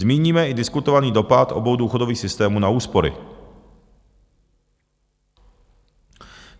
Zmíníme i diskutovaný dopad obou důchodových systémů na úspory.